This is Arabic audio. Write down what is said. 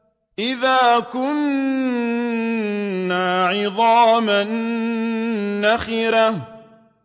أَإِذَا كُنَّا عِظَامًا نَّخِرَةً